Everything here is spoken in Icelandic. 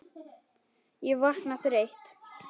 Ég vakna þreytt.